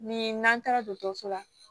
Ni n'an taara dɔgɔtɔrɔso la